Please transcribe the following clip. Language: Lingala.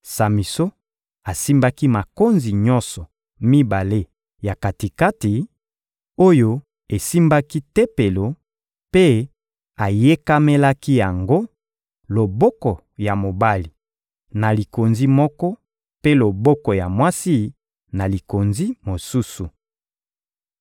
Samison asimbaki makonzi nyonso mibale ya kati-kati, oyo esimbaki tempelo, mpe ayekamelaki yango, loboko ya mobali na likonzi moko, mpe loboko ya mwasi na likonzi mosusu.